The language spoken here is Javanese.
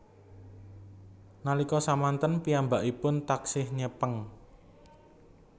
Nalika samanten piyambakipun taksih nyepeng